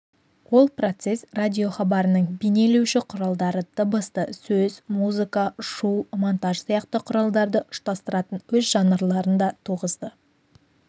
ол процесс радиохабарының бейнелеуші құралдары дыбысты сөз музыка шу монтаж сияқты құралдарды ұштастыратын өз жанрларын да туғызды